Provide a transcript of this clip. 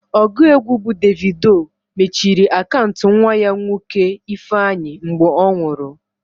Ọgụ egwu bụ Davido mechiri akaụntụ nwa ya nwoke Ifeanyi mgbe ọ nwụrụ.